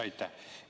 Aitäh!